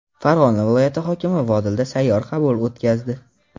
Farg‘ona viloyati hokimi Vodilda sayyor qabul o‘tkazdi.